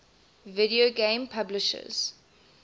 video game publishers